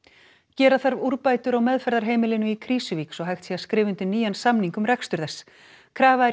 gera þarf úrbætur á meðferðarheimilinu í Krýsuvík svo hægt sé að skrifa undir nýjan samning um rekstur þess krafa er